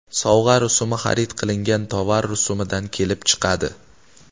Sovg‘a rusumi xarid qilingan tovar rusumidan kelib chiqadi.